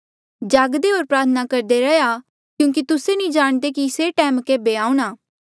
जागदे होर प्रार्थना करदे रैहया क्यूंकि तुस्से नी जाणदे कि से टैम केभे आऊंणा